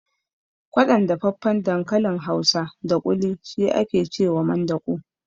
Kwaɗon dafaffen dankalin hausa da ƙuli shi ake cewa mandaƙo